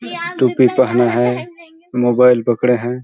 टूपी पहना है मोबाइल पकड़े हैं।